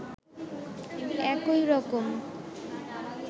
একই রকম